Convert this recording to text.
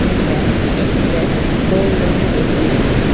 இங்க express gold லோன்னு எழுதிருக்கு.